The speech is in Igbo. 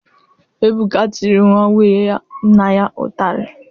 Ebuka tiri nwa nwunye nna ya ụtarị